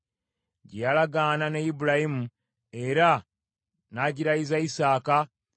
gye yakola ne Ibulayimu, era n’agirayiza Isaaka.